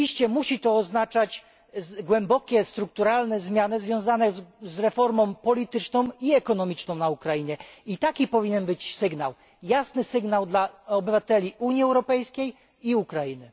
Musi to oznaczać głębokie strukturalne zmiany związane z reformą polityczną i ekonomiczną na Ukrainie, taki powinien być sygnał jasny sygnał dla obywateli Unii Europejskiej i Ukrainy.